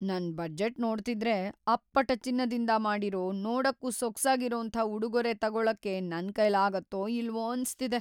ನನ್ ಬಜೆಟ್ ನೋಡ್ತಿದ್ರೆ, ಅಪ್ಪಟ ಚಿನ್ನದಿಂದ ಮಾಡಿರೋ, ನೋಡಕ್ಕೂ ಸೊಗ್ಸಾಗಿರೋಂಥ ಉಡುಗೊರೆ ತಗೊಳಕ್ಕೆ ನನ್ಕೈಲಾಗತ್ತೋ ಇಲ್ವೋ ಅನ್ಸ್ತಿದೆ.